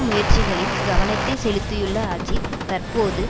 முயற்சிகளில் கவனத்தை செலுத்தியுள்ள அஜித் தற்போது